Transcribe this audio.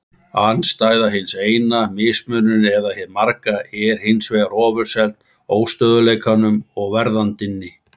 Andstæða hins eina, mismunurinn eða hið marga, er hins vegar ofurseld óstöðugleikanum og verðandinni.